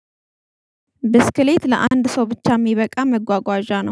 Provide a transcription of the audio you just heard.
ብስክሌት ለአንድ ሰው ብቻ የሚበቃ መጓጓዣ ነው